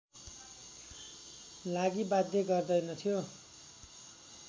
लागि बाध्य गर्दैनथ्यो